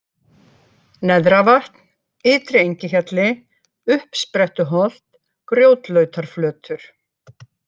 Neðravatn, Ytri-Engihjalli, Uppsprettuholt, Grjótlautarflötur